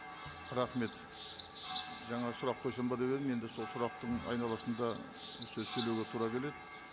рахмет жаңа сұрақ қойсам ба деп едім енді сол сұрақтың айналасында ы сөз сөйлеуге тура келеді